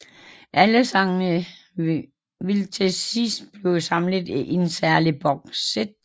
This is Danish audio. Alle sangene vil til sidst blive samlet i et særligt bokssæt